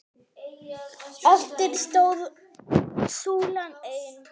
Eftir stóð súlan ein.